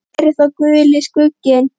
Hver er þá Guli skugginn?